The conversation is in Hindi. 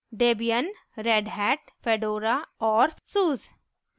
debian redhat fedora और suse